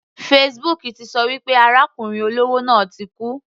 Facebook ti ṣọ wí pé arákùnrin olówó náà ti kú.